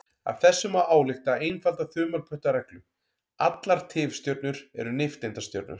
Af þessu má álykta einfalda þumalputtareglu: Allar tifstjörnur eru nifteindastjörnur.